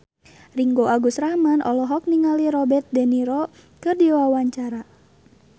Ringgo Agus Rahman olohok ningali Robert de Niro keur diwawancara